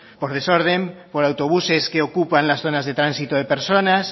por desorden por autobuses que ocupan las zonas de tránsitos de personas